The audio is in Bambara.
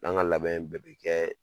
N'an ka labɛn in bɛɛ bɛ kɛ